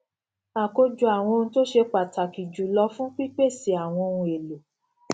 àkójọ àwọn ohun tó ṣe pàtàkì jù lọ fún pípèsè àwọn ohun èlò